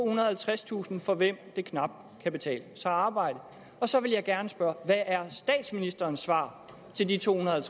og halvtredstusind for hvem det knap kan betale sig at arbejde så vil jeg gerne spørge hvad er statsministerens svar til de tohundrede og